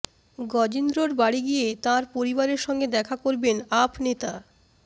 গজেন্দ্রর বাড়ি গিয়ে তাঁর পরিবারের সঙ্গে দেখা করবেন আপ নেতা